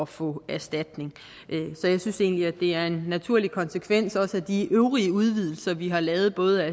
få erstatning så jeg synes egentlig at det er en naturlig konsekvens af de øvrige udvidelser vi har lavet af både